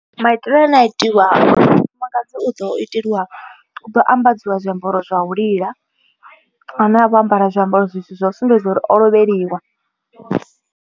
Maitele ane a itiwaho mufumakadzi u ḓo iteliwa u ḓo ambadziwa zwiambaro zwa u lila. Ane a vho ambara zwiambaro zwa u sumbedza uri o lovheliwa.